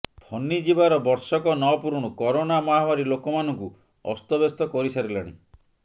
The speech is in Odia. ଫନି ଯିବାର ବର୍ଷକ ନପୂରୁଣୁ କରୋନା ମହାମାରୀ ଲୋକମାନଙ୍କୁ ଅସ୍ତବ୍ୟସ୍ତ କରିସାରିଲାଣି